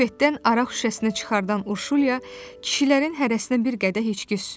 Bufetdən araq şüşəsinə çıxardan Urşulya kişilərin hərəsinə bir qədər içki süzdü.